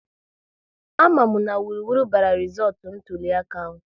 A ma mụ na wuruwuru bara rizọọtụ ntụliaka ahụ